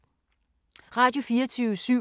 Radio24syv